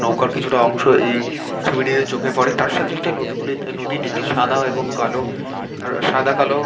নৌকার কিছুটা অংশ এই ছবিটিতে চোখে পড়ে তার সাথে সাথে নদীগুলিতে নদীটিতে সাদা এবং কালো সাদা কালো --